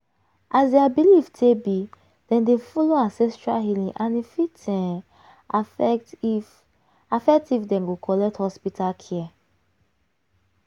as their belief take be dem dey follow ancestral healing and e fit um affect if affect if dem go collect hospital care.